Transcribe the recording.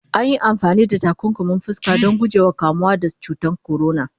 anyi amfani da takunkumin fuska Dan guje wa kamuwa da cutan corona